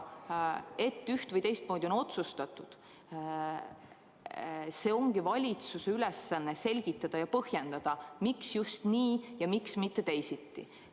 Miks on üht- või teistmoodi otsustatud – valitsuse ülesanne ongi selgitada ja põhjendada, miks just nii ja miks mitte teisiti.